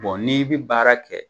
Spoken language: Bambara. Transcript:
Bon n'i bɛ baara kɛ